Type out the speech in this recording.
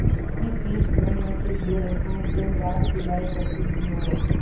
उसकी फीस भरने के लिए रश्मि दिनरात सिलाई करती थी और